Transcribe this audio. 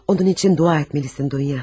Onun üçün dua etməlisən Duya.